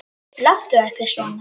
Láttu ekki svona